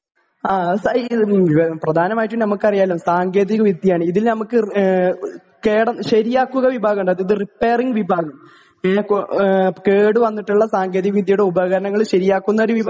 ആ പ്രധാനമായിട്ട് നമുക്കറിയാലോ സാങ്കേതിക വിദ്യയാണ് ഇതിൽ നമുക്ക് കേടു ശെരിയാക്കുക വിഭാഗമുണ്ട് അതായത് റിപ്പെയറിംഗ് വിഭാഗം .ങേ കേടു വന്നിട്ടുള്ള സാങ്കേതിക വിദ്യയുടെ ഉപകരണങ്ങള് ശെരിയാക്കുന്ന ഒരു വിഭാ